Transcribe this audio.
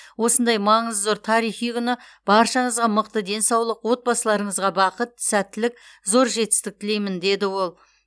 осындай маңызы зор тарихи күні баршаңызға мықты денсаулық отбасыларыңызға бақыт сәттілік зор жетістік тілеймін деді ол